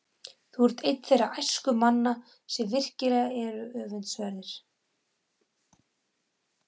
Þú ert einn þeirra æskumanna, sem virkilega eru öfundsverðir.